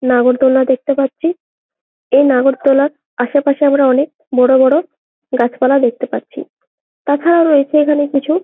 নাগরদোলা দেখতে পাচ্ছি-ই এই নাগরদোলার আশেপাশে আমরা অনেক বড়ো বড়ো গাছ পালা দেখতে পাচ্ছি । তাছাড়াও রয়েছে এখানে অনেক কিছু--